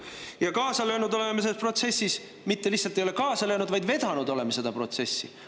Ja me oleme selles protsessis kaasa löönud, isegi ei ole mitte lihtsalt kaasa löönud, vaid oleme seda protsessi vedanud.